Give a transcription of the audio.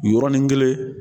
Yɔrɔnin kelen